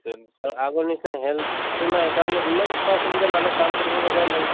আগৰ নিচিনা health তো নাই, কাৰণ ইমান সা সুবিধা, মানুহ কাম কৰিব লগা নাই